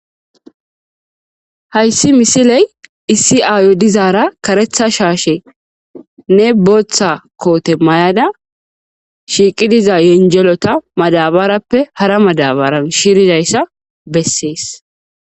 Haysi missile issi ayo dizara karetha shashenne bota kote mayada shiqi diza zenjelota madabarappe hara madabaran shirdaysa besses.